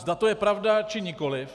Zda to je pravda, či nikoliv.